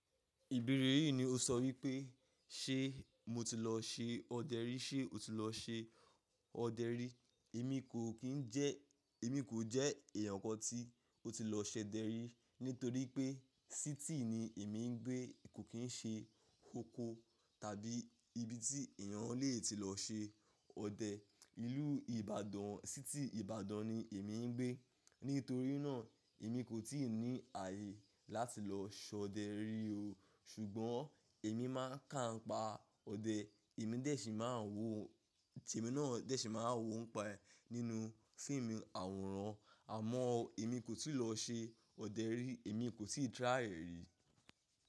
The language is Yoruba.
Ìbéèrè yìí ni o sọ wípé, ṣe mo ti lọ ṣe ọdẹ rí? Ṣe o ti lọ ṣe ọdẹ rí? Èmi kò kí ń jẹ́, èmi kò jẹ́ èèyàn kan tí ó ti lọ ṣe ọdẹ rí. Nítorí pé síítì ni èmi ń gbé. Kò kín ṣe oko tàbí ibi tí èèyàn lè ti lọ ṣe ọdẹ. Ìlú Ìbàdàn, síítì Ìbàdàn ni èmi ń gbé. Nítorí náà èmi kò tíì ní ààyè láti lọ ṣe ọdẹ rí o. Ṣùgbọ́n èmi máa ń kà ń pa ọdẹ. Èmi dẹ́ṣì máa ń wò, temi náà dẹ́ṣì máa ń wò ó pa ẹ nínú fíìmù àwòrán. Àmọ́ èmi kò tíì lọ ṣe ọdẹ rí. Èmi kò tíì try ẹ rí.